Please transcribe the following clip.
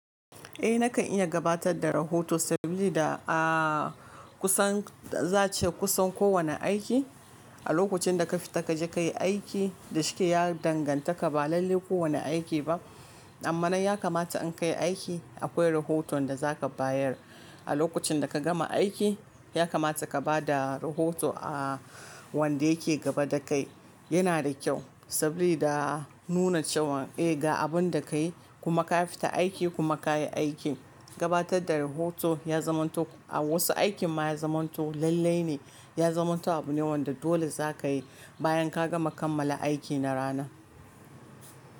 Eh nakan iya gabatar da rahoto sabili da a kusan za ace kusan kowane aiki, a lokacin da ka fita kaje kayi aiki da shike ya danganta ka ba lalle kowane aiki ba. Amma nan ya kamata in kayi aiki akwai rahoton da zaka bayar. A lokacin da ka gama aiki ya kamata ka bada rahoto a wanda yake gaba dakai. Yana da kyau sabili da nuna cewan eh ga abunda kayi kuma ka fita aiki kuma kayi aikin. Gabatar da rahoto ya zamanto a wasu aikin ma ya zamanto lallai ne. Ya zamanto abu ne wanda dole zaka yi bayan ka gama kammala aiki na rana.